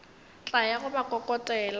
tla ya go ba kokotela